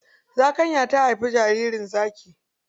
Zakanya ta haifi jaririn zaki.